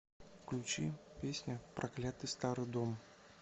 включи песня проклятый старый дом